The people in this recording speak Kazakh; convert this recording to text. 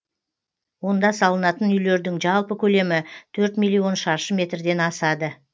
онда салынатын үйлердің жалпы көлемі төрт миллион шаршы метрден асады